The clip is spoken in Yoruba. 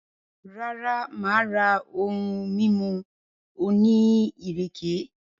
Rara, maa ra ohun mimu oni ireke.